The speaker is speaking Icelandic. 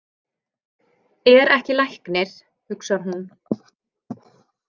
Er ekki læknir, hugsar hún.